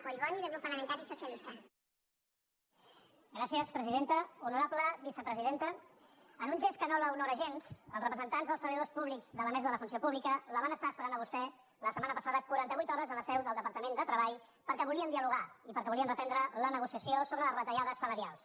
honorable vicepresidenta en un gest que no l’honora gens els representants dels treba·lladors públics de la mesa de la funció pública la van estar esperant a vostè la setmana passada quaranta·vuit hores a la seu del departament de treball perquè volien dialogar i perquè volien reprendre la negociació sobre les retallades salarials